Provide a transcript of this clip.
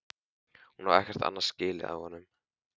Hún á ekkert annað skilið af honum.